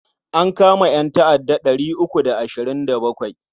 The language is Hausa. An kama ƴanta'adda ɗari uku da ashirin da bakwai.